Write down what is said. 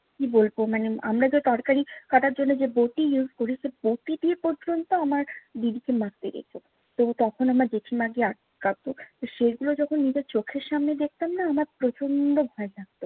কি বলবো মানে আমরা যে তরকারি কাটার জন্য যে বটি use করি, সে বটি দিয়ে পর্যন্ত আমার দিদিকে মারতে গেছে। তো তখন আমার জেঠিমা গিয়ে আটকাতো। তো সেগুলো যখন নিজের চোখের সামনে দেখতাম না, আমার প্রচন্ড ভয় লাগত।